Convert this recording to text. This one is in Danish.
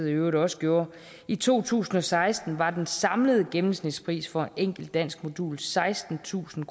i øvrigt også gjorde i to tusind og seksten var den samlede gennemsnitspris for et enkelt danskmodul sekstentusind